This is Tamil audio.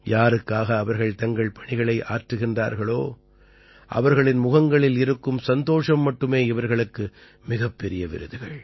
யாருக்காக அவர்கள் தங்கள் பணிகளை ஆற்றுகின்றார்களோ அவர்களின் முகங்களில் இருக்கும் சந்தோஷம் மட்டுமே இவர்களுக்கு மிகப்பெரிய விருதுகள்